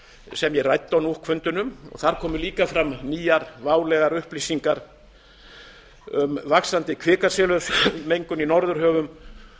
sem ég ræddi á nuuk fundinum þar komu líka fram nýjar válegar upplýsingar um vaxandi kvikasilfursmengun í norðurhöfum